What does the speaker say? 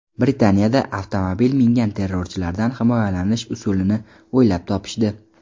Britaniyada avtomobil mingan terrorchilardan himoyalanish usulini o‘ylab topishdi.